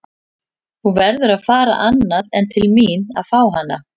Þú verður að fara annað en til mín að fá hana.